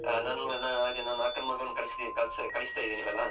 ಹಾ ನಂ ಮ ಹಾಗೆ ನನ್ ಅಕ್ಕನ್ ಮಗನ್ನು ಕಳಿಸ್ತಾ ಕಳಿಸ್ತಾ ಇದ್ದೇವಲ್ಲಾ .